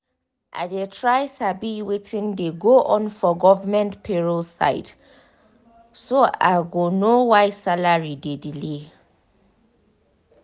i dey try sabi wetin dey go on for government payroll side so i go know why salary dey delay.